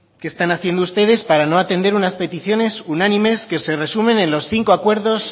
qué están haciendo ustedes para no atender unas peticiones unánimes que se resumen en los cinco acuerdos